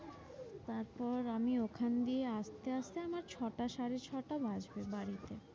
তারপর আমি ওখান দিয়ে আসতে আসতে আমার ছটা সাড়ে ছটা বাজবে বাড়িতে।